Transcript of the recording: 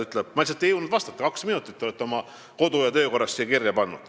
Ma lihtsalt ei jõudnud vastata, sest te olete oma kodu- ja töökorras vastuse jaoks kaks minutit kirja pannud.